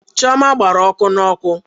Chioma gbara ọkụ n'oku.